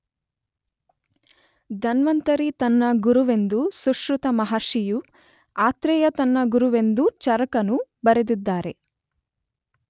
ಧನ್ವಂತರಿ ತನ್ನ ಗುರುವೆಂದು ಸುಶ್ರುತ ಮಹರ್ಷಿಯೂ ಆತ್ರೇಯ ತನ್ನ ಗುರುವೆಂದು ಚರಕನೂ ಬರೆದಿದ್ದಾರೆ.